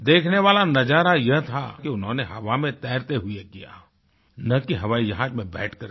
देखने वाला नज़ारा यह था कि उन्होंने हवा में तैरते हुए किया न कि हवाई जहाज़ में बैठकर के